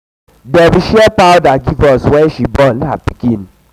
dem share powder give us wen she born um her pikin.